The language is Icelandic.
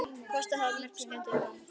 Kostaði það mörg skeyti og ótalin símtöl.